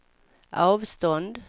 avstånd